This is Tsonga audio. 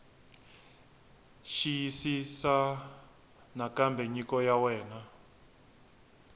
xiyisisisa nakambe nyiko ya wena